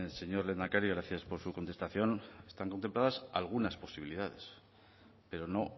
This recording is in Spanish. señor lehendakari gracias por su contestación están contempladas algunas posibilidades pero no